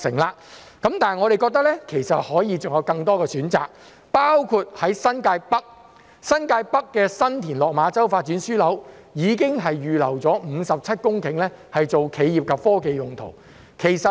不過，我們認為還可以有更多選擇，包括在新界北的新田落馬洲發展樞紐已經預留57公頃作企業及科技用途。